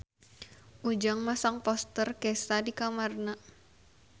Ujang masang poster Kesha di kamarna